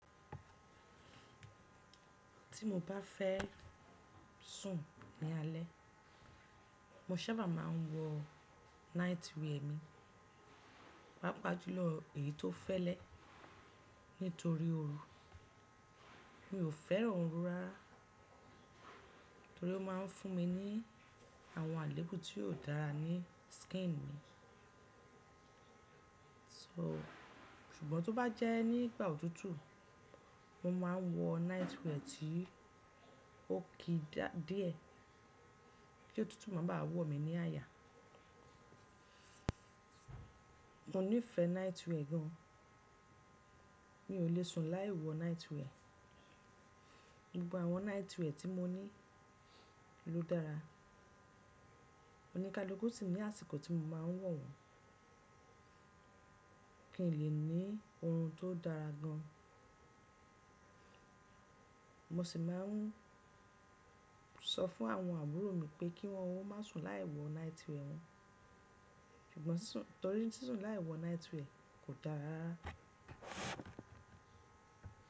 Tí mo bá fẹ́ sùn ní alé, mo sábà má a n wọ nightwear mi, pàápàá jùlọ èyí tó fẹ́lẹ́ nítorí oru. Mi ò fẹ́ràn oru rárá torí ó ma n fún mi ní àwọn àléébù tí ò dára ní skin mi. So, ṣùgbọ́n tó bá jẹ́ nígbà òtútù, mo ma n wọ nightwear tí ó ki dá díẹ̀ kí òtútù máa ba à wọ mí ní àyà. Mo nífẹ̀ẹ́ nightwear gan an. Mi ò le sùn láì wọ nightwear. Gbogbo àwọn nightwear tí mo ní ló dára. O ní kalúkù sì ní àsìkò tí mo ma n wọ̀ wọ́n. Kìn lè ní orun tó dára gan an. Mo sì má n sọ fún àwọn àbúrò mi pé kí wọ́n o má sùn láì wọ nightwear wọn, ṣùgbọ́n ṣíṣún torí ṣíṣún láì wọ nightwear kò dára.